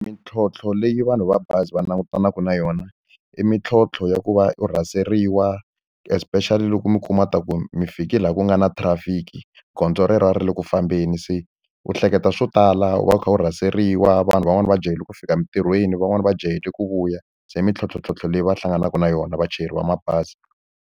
Mintlhontlho leyi vanhu va bazi va langutanaka na yona, i mintlhontlho ya ku va u rhaseriwa especially loko mi kuma leswaku mi fike laha ku nga na traffic-i gondzo relero a ri le ku fambeni. Se u hleketa swo tala, u va u kha u rhaseriwa, vanhu van'wani va jahile ku fika emitirhweni, van'wani va jahile ku vuya. Se i mintlhontlhontlhontlho leyi va hlanganaka na yona vachayeri va mabazi.